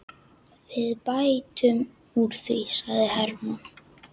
Við bætum úr því, sagði Hermann.